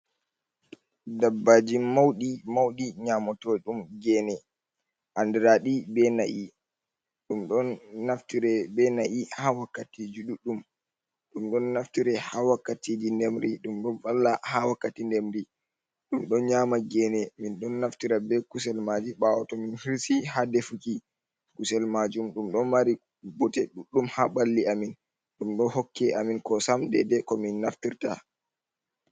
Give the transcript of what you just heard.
Ɗabbaji mauɗi mauɗi nyamoto ɗum gene. Anɗiraɗi be na'i. Ɗum ɗon naftire be na'i ha wakkatiji ɗuɗɗum. Ɗum ɗon naftire ha wakkatiji nɗemri. Dum ɗon valla ha wakkati ɗemri. Ɗum ɗon nyama gene. Min ɗon naftira be kusel maji bawo to min hirsi ha ɗefuki kusel majum. Ɗum ɗon mari bote ɗuɗɗum ha balli amin. Ɗum ɗo hokke amin kosam ɗeɗe ko min naftirta.